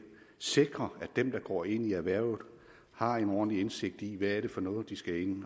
sikrer at dem der går ind i erhvervet har en ordentlig indsigt i hvad det er for noget de skal ind